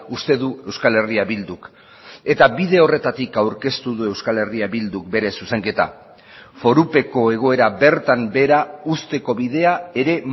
uste du euskal herria bilduk eta bide horretatik aurkeztu du euskal herria bilduk bere zuzenketa forupeko egoera bertan behera uzteko bidea ere